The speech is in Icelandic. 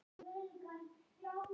Gengur ekki vel?